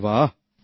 আরে বাহ্